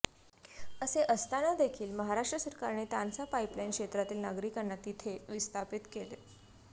असे असताना देखील महाराष्ट्र सरकारने तानसा पाईप लाईन क्षेत्रातील नागरिकांना तिथे विस्थापित केले